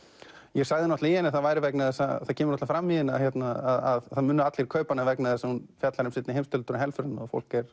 ég sagði í henni að það væri vegna þess að það kemur fram í henni að það munu allir kaupa hana vegna þess að hún fjallar um seinni heimsstyrjöldina og helförina fólk er